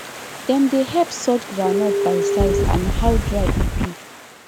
dem dey help sort groundnut by size and how dry e be